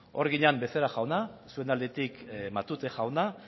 hor ginen becerra jauna zuen aldetik matute jauna